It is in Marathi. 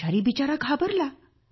आचारी बिचारा घाबरला